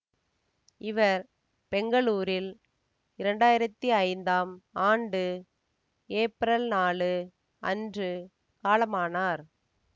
இவர் பெங்களூரில் இரண்டு ஆயிரத்தி ஐந்து ஆண்டு ஏப்ரல் நாழு அன்று காலமானார்